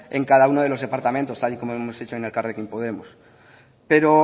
en cada uno de los departamentos tal y como lo hemos hecho en elkarrekin podemos pero